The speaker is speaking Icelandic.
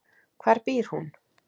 Hvar býr hún?